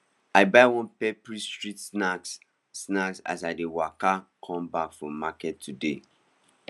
i buy one peppery street snack snack as i dey waka come back from market today